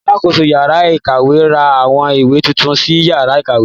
Alákoso yàrá ìkàwé ra àwọn ìwé titun sí yàrá ìkàwé.